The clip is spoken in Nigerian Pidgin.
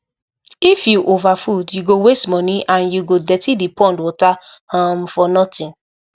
if you overfood you go waste money and you go dirty the pond water um for nothing